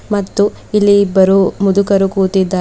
ಮತ್ತು ಇಲ್ಲಿ ಇಬ್ಬರು ಮುದುಕರು ಕೂತಿದ್ದಾ--